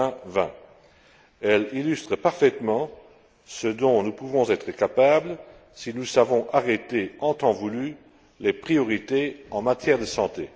2020. Elle illustre parfaitement ce dont nous pouvons être capables si nous savons arrêter en temps voulu les priorités en matière de santé.